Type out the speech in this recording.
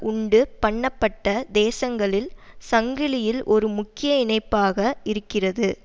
உண்டு பண்ணப்பட்ட தேசங்களில் சங்கிலியில் ஒரு முக்கிய இணைப்பாக இருக்கிறது